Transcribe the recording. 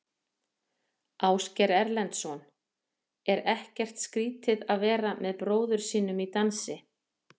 Ásgeir Erlendsson: Er ekkert skrítið að vera með bróður sínum í dansi?